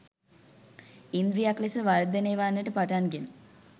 ඉන්ද්‍රියක් ලෙස වර්ධනය වන්නට පටන්ගෙන